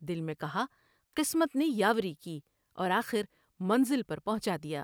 دل میں کہا قسمت نے یاوری کی اور آخر منزل پر پہنچادیا ۔